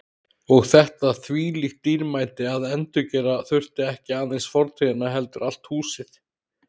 Og þetta þvílíkt dýrmæti að endurgera þurfti ekki aðeins fortíðina heldur allt húsið.